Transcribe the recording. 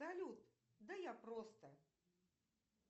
салют да я просто